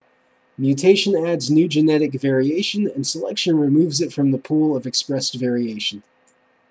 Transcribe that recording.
mutation adds new genetic variation and selection removes it from the pool of expressed variation